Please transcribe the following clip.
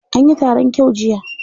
Anyi taron kyau jiya.